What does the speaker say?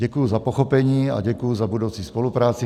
Děkuji za pochopení a děkuji za budoucí spolupráci.